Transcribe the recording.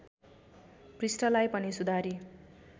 पृष्ठलाई पनि सुधारी